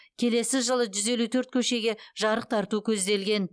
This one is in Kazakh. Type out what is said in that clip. келесі жылы жүз елу төрт көшеге жарық тарту көзделген